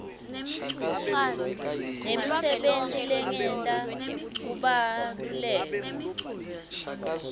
nemisebenti lengeta kubaluleka